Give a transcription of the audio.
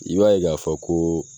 I b'a ye ga fɔ ko